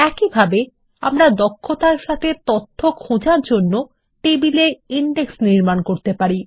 একইভাবে আমরা দক্ষতার সাথে তথ্য খোঁজার জন্য টেবিল এ ইনডেক্স নির্মাণ করতে পারি